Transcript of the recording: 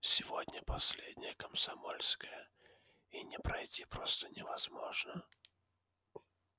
сегодня последнее комсомольское и не пройти просто невозможно